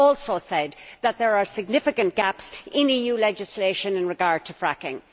He also said that there are significant gaps in EU legislation in regard to fracking.